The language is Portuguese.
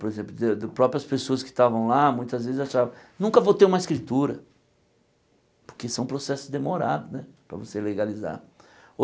Por exemplo, de próprias pessoas que estavam lá, muitas vezes achavam, nunca vou ter uma escritura, porque são processos demorados né para você legalizar.